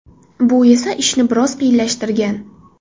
Bu esa ishni biroz qiyinlashtirgan.